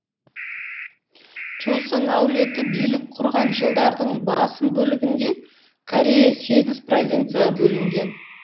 чосон әулеті билік құрған жылдардың басым бөлігінде корея сегіз провинцияға бөлінген